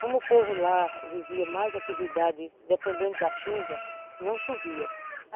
Como o povo lá vivia mais atividade dependendo da chuva, não chovia.